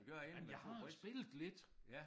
Men jeg har spillet lidt